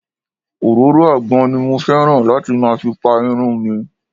Òróró àgbọn ni mo fẹ́ràn láti máa fi Pa irun mìi.